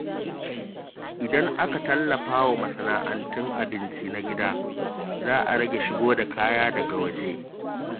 Idan aka tallafa wa masana’antun abinci na gida, za a rage shigo da kaya daga waje.